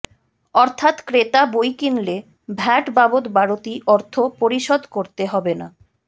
অর্থাৎ ক্রেতা বই কিনলে ভ্যাট বাবদ বাড়তি অর্থ পরিশোধ করতে হবে না